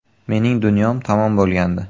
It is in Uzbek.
Mening dunyom tamom bo‘lgandi.